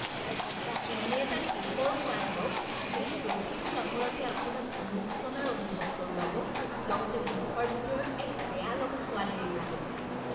এনে এটা কে'কৰ সোৱাদ লওক যিয়ে প্ৰতিটো কামোৰতে আপোনাক অনুশোচনাৰ অনুভৱ কৰোৱাব, লগতে মুখৰ ভিতৰত এক বেয়ালগা সোৱাদ এৰি যাব।